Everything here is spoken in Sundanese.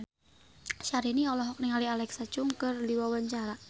Syahrini olohok ningali Alexa Chung keur diwawancara